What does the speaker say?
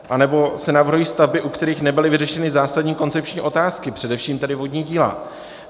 Anebo se navrhují stavby, u kterých nebyly vyřešeny zásadní koncepční otázky, především tedy vodní díla?